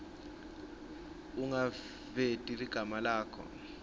ungaveti ligama lakho